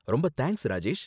ரொம்ப தேங்க்ஸ், ராஜேஷ்.